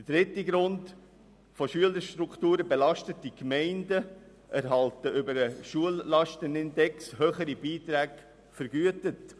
Zum dritten Grund: Von Schülerstrukturen belastete Gemeinden erhalten über den Schullastenindex höhere Beiträge vergütet.